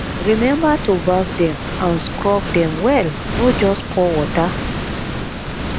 remember to baff dem and scrub dem well no just pour water